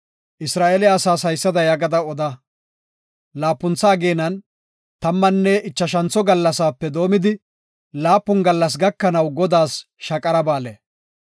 Isra7eele asaas haysada yaagada oda; laapuntha ageenan tammanne ichashantho gallasaape doomidi, laapun gallas gakanaw Godaas Shaqara Ba7aale.